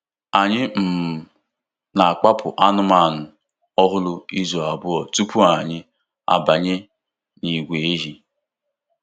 Anyị um na-akpapụ anụmanụ ọhụrụ izu abụọ tupu anyị abanye n'ìgwè ehi.